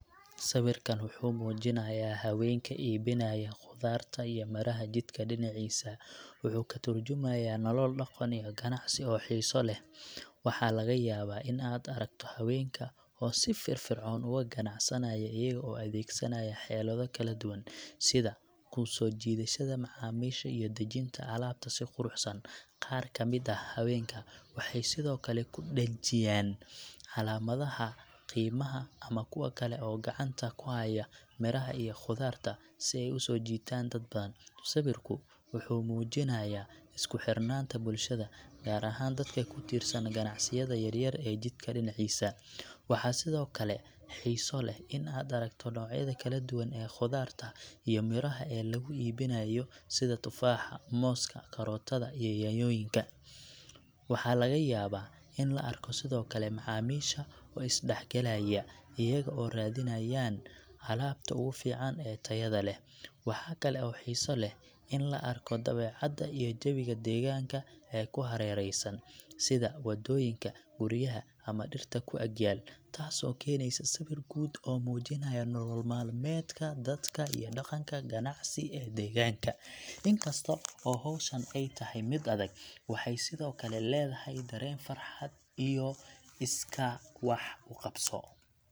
Sawirkan waxuu muujinaya haweenka iibinaya khudaarta iyo miraha jidka dhinaciisa wuxuu ka tarjumayaa nolol dhaqan iyo ganacsi oo xiiso leh. Waxa laga yaabaa in aad aragto haweenka oo si firfircoon uga ganacsanaya, iyaga oo adeegsanaya xeelado kala duwan sida ku soo jiidashada macaamiisha iyo dejinta alaabta si quruxsan. Qaar ka mid ah haweenka waxay sidoo kale ku dhajiyeen calaamadaha qiimaha ama kuwa kale oo gacanta ku haya miraha iyo khudaarta, si ay u soo jiitaan dad badan. Sawirku wuxuu muujinayaa isku xirnaanta bulshada, gaar ahaan dadka ku tiirsan ganacsiyada yaryar ee jidka dhinaciisa. Waxaa sidoo kale xiiso leh in aad aragto noocyada kala duwan ee khudaarta iyo miraha ee lagu iibinayo sida tufaaxa, mooska, karootada, iyo yaanyooyinka. Waxaa laga yaabaa in la arko sidoo kale macaamiisha oo is dhexgalaya, iyaga oo raadinayaan alaabta ugu fiican ee tayada leh. Waxa kale oo xiiso leh in la arko dabeecadda iyo jawiga deegaanka ee ku hareereysan, sida waddooyinka, guryaha ama dhirta ku ag yaal, taasoo keenaysa sawir guud oo muujinaya nolol maalmeedka dadka iyo dhaqanka ganacsi ee deegaanka. In kasto oo hawshan ay tahay mid adag, waxay sidoo kale leedahay dareen farxad iyo iskaa wax u qabso.